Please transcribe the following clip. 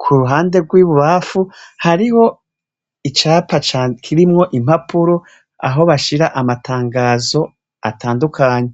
Ku ruhande rw'ibubamfu, hariho icapa kirimwo impapuro, aho bashira amatangazo atandukanye.